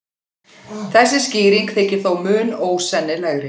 Þessi skýring þykir þó mun ósennilegri.